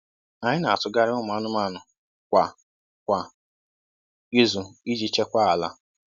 Anyị na-atụgharị ụmụ anụmanụ kwa kwa izu iji chekwaa ala.